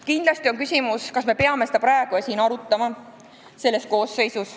Kindlasti on küsimus, kas me peame seda arutama praegu, selles koosseisus.